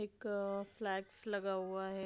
एक फ्लैग्स लगा हुआ है।